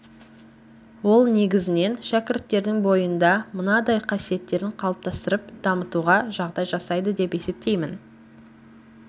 ол негізінен шәкірттердің бойында мынадай қасиеттерін қалыптастырып дамытуға жағдай жасайды деп есептеймін